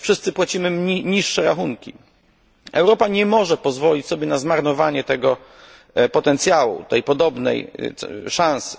Wszyscy płacimy niższe rachunki. Europa nie może pozwolić sobie na zmarnowanie tego potencjału, tej podobnej szansy.